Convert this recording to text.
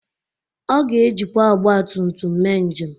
Ọ ga-ejikwa ọgbatumtum mee njem